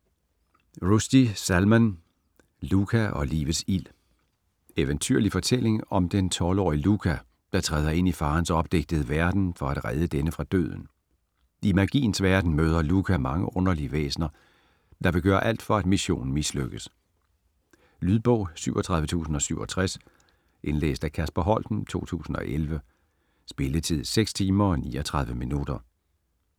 Rushdie, Salman: Luka og livets ild Eventyrlig fortælling om den 12-årige Luka, der træder ind i faderens opdigtede verden for at redde denne fra døden. I Magiens Verden møder Luka mange underlige væsner, der vil gøre alt for at missionen mislykkes. Lydbog 37067 Indlæst af Kasper Holten, 2011. Spilletid: 6 timer, 39 minutter.